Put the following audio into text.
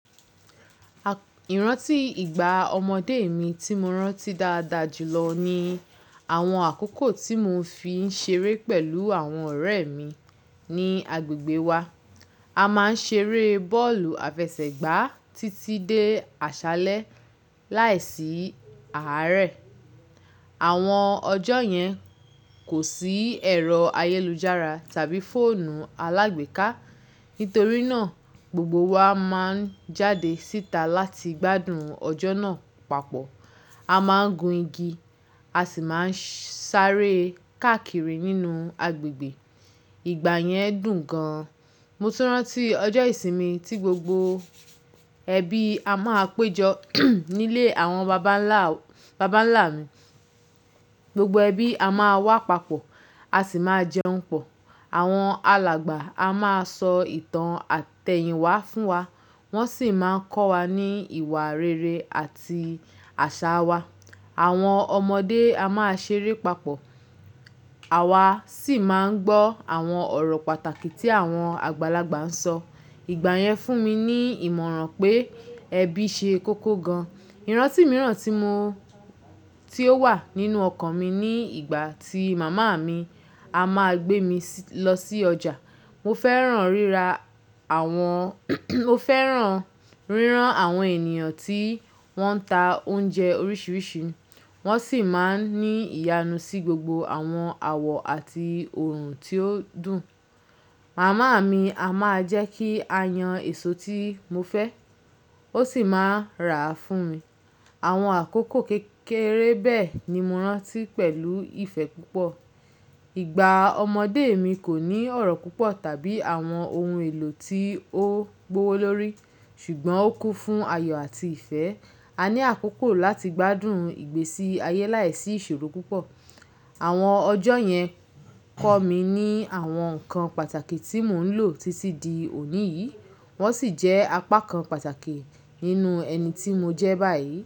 Ìrántì ìgbà ọmọdé mi tí mo rántí dáadáa jùlọ ni àwọn àkókò tí mo fi ń ṣeré pẹ̀lú àwọn ọ̀rẹ́ mi ní agbègbè wa. A máa ń ṣeré bọ́ọ̀lù àfẹsẹ̀gbá títí dé àṣálẹ́ láìsí àárẹ̀. Àwọn ọjọ́ yẹn kò sí ẹ̀rọ ayélujára tàbí fóònù alágbèéká. Nítorí náà, gbogbo wa máa ń jáde síta láti gbádùn ọjọ́ náà papọ̀. A máa ń gun igi, a sì máa ń sáré káàkiri nínú agbègbè. Ìgbà yẹn dùn gan-an. Mo túrán tí ọjọ́ ìsinmi tí gbogbo ẹbí a máa péjọ nílé àwọn bàbánlá, bàbánlá mi. Gbogbo ẹbí a máa wá papọ̀, a sì máa jẹun pọ̀. Àwọn alàgbà a máa sọ ìtàn àtẹ̀yìnwá fún wa, wọ́n sì máa ń kọ́ wa ní ìwà rere àti àṣà wa. Àwọn ọmọdé a máa ṣeré papọ̀, àwa sì máa ń gbọ́ àwọn ọ̀rọ̀ pàtàkì tí àwọn àgbàlagbà ń sọ. Ìgbà yẹn fún mi ní ìmọ̀ràn pé ẹbí ṣe kókó gan. Ìrántì mìíràn tí mo, tí ó wà nínú ọkàn mi ní ìgbà tí màmá mi a máa gbé mi lọ sí ọjà. Mo fẹ́ràn rírà àwọn, mo fẹ́ràn rírán àwọn ènìyàn tí wọ́n ń ta oúnjẹ oríṣiríṣi. Wọ́n sì máa ń ní ìyanu sí gbogbo àwọn àwọ̀ àti oòrùn tí ó dùn. Màmá mi a máa jẹ́ kí a yan èso tí mo fẹ́, ó sì máa rà á fún mi. Àwọn àkókò kékeré bẹ́ẹ̀ ni mo rántí pẹ̀lú ìfẹ́ púpọ̀. Ìgbà ọmọdé mi kò ní ọ̀rọ̀ púpọ̀ tàbí àwọn ohun èlò tí ó gbówó lórí, ṣùgbọ́n ó kún fún ayọ̀ àti ìfẹ́. A ní àkókò láti gbádùn ìgbésí ayé láìsí ìṣòro púpọ̀. Àwọn ọjọ́ yẹn kọ́ mi ní àwọn nǹkan pàtàkì tí mò ń lò títí di òní yìí, wọ́n sì jẹ́ apá kan pàtàkì nínú ẹni tí mo jẹ́ báyìí.